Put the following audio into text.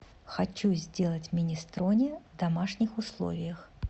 хочу сделать минестроне в домашних условиях